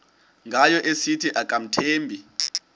ngayo esithi akamthembi